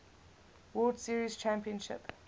world series championship